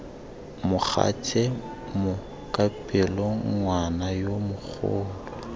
mogatse mokapelo ngwana yo mogolo